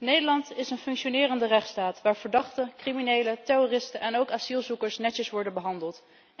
Nederland is een functionerende rechtsstaat waar verdachten, criminelen, terroristen en ook asielzoekers netjes worden behandeld.